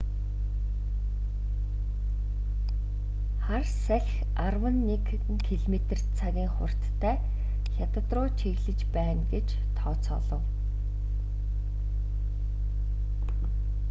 хар салхи арван нэг км/цагийн хурдтай хятад руу чиглэж байна гэж тооцоолов